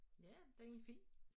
Ja den er fin